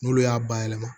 N'olu y'a bayɛlɛma